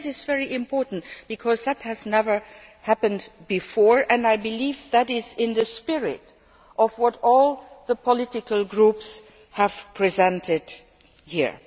This is very important because it has never happened before, and I believe that it is in the spirit of what all the political groups have presented here.